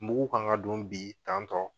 Mugu kan ka don bi tan tɔ